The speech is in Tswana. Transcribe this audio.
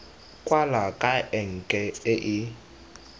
kwala ka enke e e